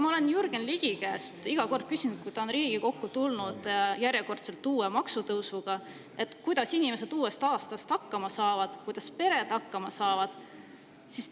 Ma olen Jürgen Ligi käest küsinud iga kord, kui ta on järjekordselt tulnud Riigikokku uue maksutõusuga: kuidas inimesed uuest aastast hakkama saavad, kuidas pered hakkama saavad?